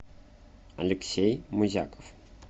алексей музяков